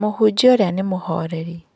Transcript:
Mũhunjia ũrĩa nĩ mũhoreri.